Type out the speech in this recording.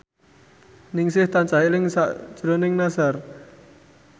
Ningsih tansah eling sakjroning Nassar